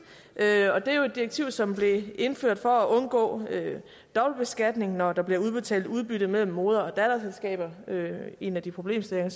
er jo et direktiv som blev indført for at undgå dobbeltbeskatning når der bliver udbetalt udbytte mellem moder og datterselskaber en af de problemstillinger